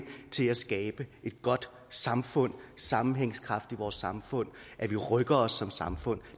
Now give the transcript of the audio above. til at skabe et godt samfund sammenhængskraft i vores samfund at vi rykker os som samfund